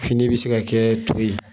Fini bi se ka kɛɛ to ye.